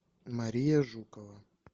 мария жукова